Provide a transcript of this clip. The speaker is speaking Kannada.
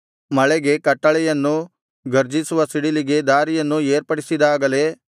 ಮಳೆಗೆ ಕಟ್ಟಳೆಯನ್ನೂ ಗರ್ಜಿಸುವ ಸಿಡಿಲಿಗೆ ದಾರಿಯನ್ನೂ ಏರ್ಪಡಿಸಿದಾಗಲೇ